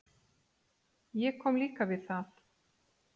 Ég kom líka við það.